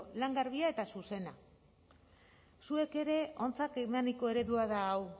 lan garbia eta zuzena zuek ere ontzat emaniko eredua da hau